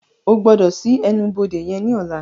O gbọdọ ṣii ẹnu-bode yen ní ọla!